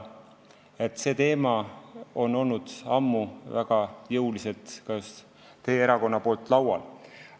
Nii et see teema on olnud ammu väga jõuliselt esil just teie erakonna eestvedamisel.